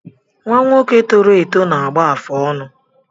Nnwa nwoke tọrọ eto na-agba afụ ọnụ